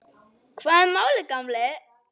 Hvað er málið, gamli?